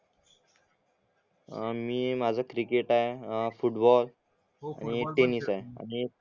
अं मी माझा क्रिकेट आहे अं फुटबॉल आणि एक टेनिस आहे